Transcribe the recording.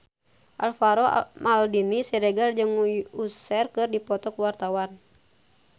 Alvaro Maldini Siregar jeung Usher keur dipoto ku wartawan